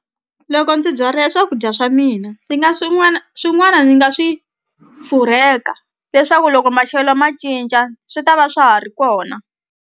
Loko ndzi byale swakudya swa mina ndzi nga swin'wana swin'wana ni nga swi furheka leswaku loko maxelo ma cinca swi ta va swa ha ri kona.